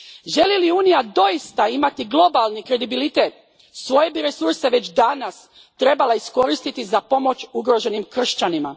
Želi li Unija doista imati globalni kredibilitet, svoje bi resurse već danas trebala iskoristiti za pomoć ugroženim kršćanima.